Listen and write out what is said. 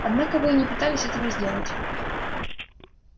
однако вы и не пытались этого сделать